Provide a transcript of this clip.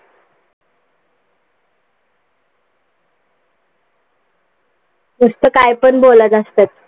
नुसत कायपण बोलत असतात.